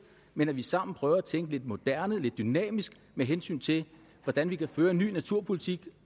men at vi sammen prøver at tænke lidt moderne lidt dynamisk med hensyn til hvordan vi kan føre en ny naturpolitik